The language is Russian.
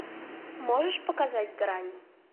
можешь показать грань